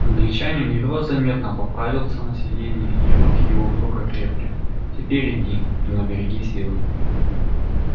англичанин едва заметно поправился на сиденье и руки его вдруг окрепли теперь иди но береги силы